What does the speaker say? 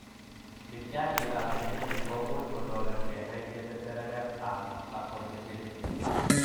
Mityaaniikap genetic ko much kotoret kenai che terterenap achondrogenesis.